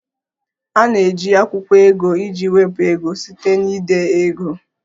A na-eji akwụkwọ ego iji wepụ ego site na ide ego